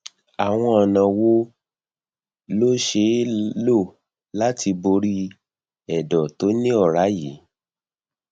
àwọn ọnà wo ló ṣeé lò láti borí ẹdọ tó ní ọrá yìí